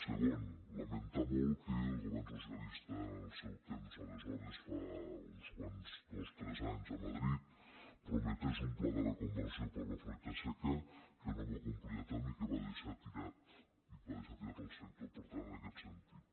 segon lamentar molt que el govern socialista en el seu temps aleshores fa uns dos tres anys a madrid prometés un pla de reconversió per a la fruita seca que no va complir a terme i que va deixar tirat que va deixar tirat el sector per tant en aquest sentit